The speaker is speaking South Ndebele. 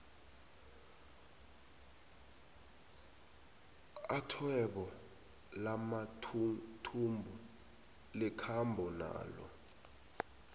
athwebo lamathuthumbo likhambo nalo